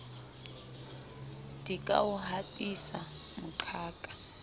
di ka o hapisa moqhaka